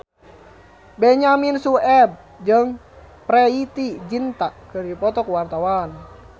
Benyamin Sueb jeung Preity Zinta keur dipoto ku wartawan